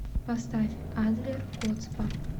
поставь адлер коцба